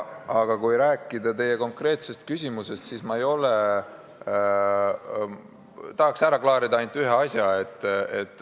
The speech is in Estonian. Aga kui rääkida teie konkreetsest küsimusest, siis ma tahaks ära klaarida ühe asja.